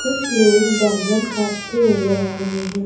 कुछ लोग बैंगन काटते नजर आ रहे हैं।